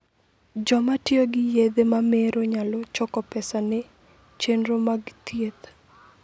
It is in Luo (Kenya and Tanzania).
Joma tiyo gi yedhe mamero nyalo choko pesa ne chenro mag thieth.